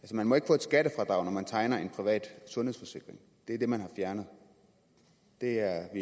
man må ikke få et skattefradrag når man tegner en privat sundhedsforsikring det er det man har fjernet det er